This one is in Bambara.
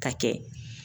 Ka kɛ